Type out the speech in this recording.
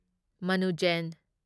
ꯃꯅꯨ ꯖꯦꯟ